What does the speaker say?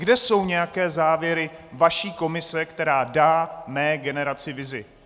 Kde jsou nějaké závěry vaší komise, která dá mé generaci vizi?